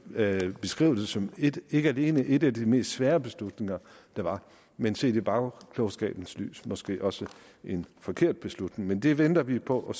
vil beskrive som ikke alene en af de mest svære beslutninger der var men set i bagklogskabens lys måske også en forkert beslutning men det venter vi på og